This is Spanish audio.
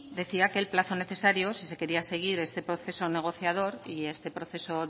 decía que el plazo necesario si se quería seguir este proceso negociador y este proceso